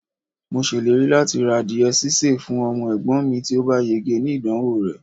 mo ṣèlérí lati ra adìye sise fún ọmọ egbon mi ti o ba yege ni idanwo re